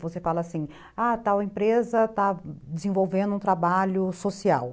Você fala assim, ah, tal empresa está desenvolvendo um trabalho social.